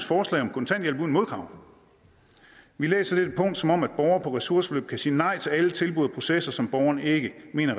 forslag om kontanthjælp uden modkrav vi læser dette punkt som om borgere på ressourceforløb kan sige nej til alle tilbud og processer som borgeren ikke mener